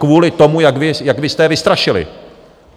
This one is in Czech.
Kvůli tomu, jak vy jste je vystrašili!